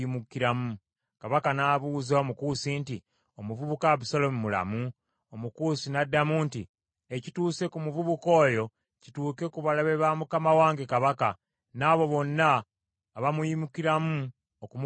Kabaka n’abuuza Omukusi nti, “Omuvubuka Abusaalomu mulamu?” Omukusi n’addamu nti, “Ekituuse ku muvubuka oyo, kituuke ku balabe ba mukama wange kabaka, n’abo bonna abamuyimukiramu okumukola akabi.”